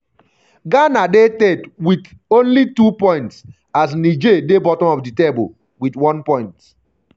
ghana dey third wit only 2 points as um niger um dey bottom of di table wit one point.